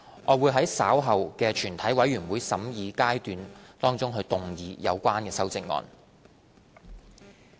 我會在稍後的全體委員會審議階段動議有關修正案。